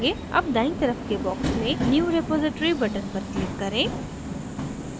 अब दायीं तरफ के box में new repository button पर click करें